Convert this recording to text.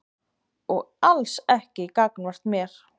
Og alls ekki gagnvart mér.